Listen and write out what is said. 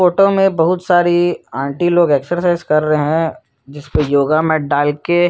photo में बहुत सारी आंटी लोग एक्साइज कर रहै है जिसको योगा में डालके--